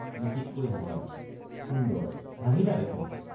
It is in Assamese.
মিচিককৈ হাঁহে সুন্দৰ—হাঁহিলা দেখোন।